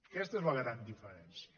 aquesta és la gran diferència